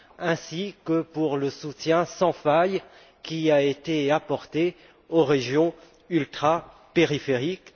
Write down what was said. ainsi que pour le soutien sans faille apporté aux régions ultrapériphériques.